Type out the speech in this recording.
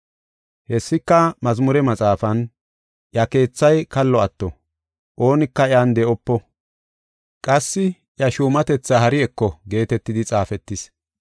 “Hessika mazmure maxaafan, “ ‘Iya keethay kallo atto; oonika iyan de7opo. Qassi iya shuumatetha hari eko’ geetetidi xaafetis.